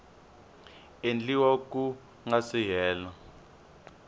endliwa ku nga si hela